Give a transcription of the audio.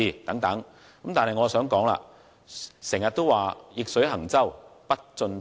然而，我想指出，常言道：逆水行舟，不進則退。